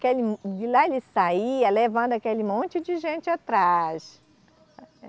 De lá ele saía levando aquele monte de gente atrás.